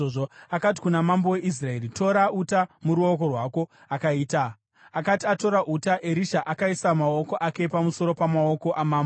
Akati kuna mambo weIsraeri, “Tora uta muruoko rwako.” Akati atora uta, Erisha akaisa maoko ake pamusoro pamaoko amambo.